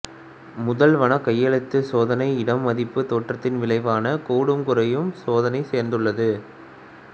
முதல் வகைக்கெழுச் சோதனை இடை மதிப்புத் தேற்றத்தின் விளைவான கூடும்குறையும் சோதனையைச் சார்ந்துள்ளது